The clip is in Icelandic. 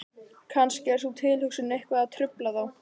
Kannski er sú tilhugsun eitthvað að trufla þá?